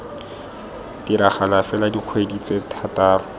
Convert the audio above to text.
diragala fela dikgwedi tse thataro